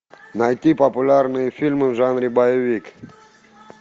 найти популярные фильмы в жанре боевик